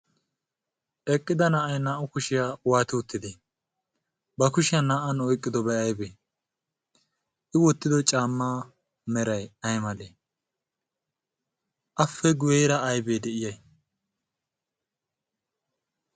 eqqida na"ay naa"u kushiyaa waati uttide ba kushiyan naa"an oiqqidobai aibee i wottido caamma merai aymalee ape guyeera aybee de'iyay?